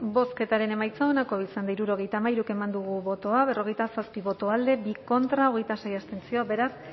bozketaren emaitza onako izan da hirurogeita hamairu eman dugu bozka berrogeita zazpi boto alde bi contra hogeita sei abstentzio beraz